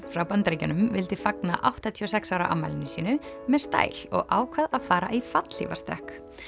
frá Bandaríkjunum vildi fagna áttatíu og sex ára afmælinu sínu með stæl og ákvað að fara í fallhlífastökk